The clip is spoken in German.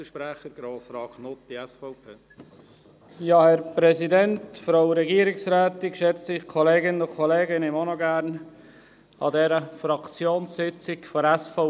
Ich möchte auch noch gerne an dieser Fraktionssitzung der SVP teilnehmen.